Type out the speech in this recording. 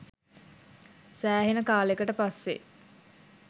සෑහෙන කාලෙකට පස්සේ